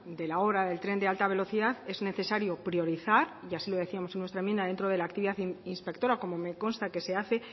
de la obra del tren de alta velocidad es necesario priorizar y así lo decíamos en nuestra enmienda dentro de la actividad inspectora como me consta que se hace